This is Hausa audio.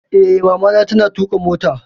Eh, Mamana ta na tuƙa motarta